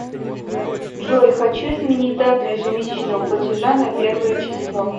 джой хочу изменить дату ежемесячного платежа на первое число